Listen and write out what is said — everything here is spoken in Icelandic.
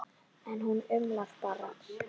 En hún umlar bara.